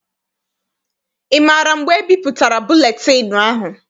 Ị maara mgbe ebipụtara buletịịnụ ahụ?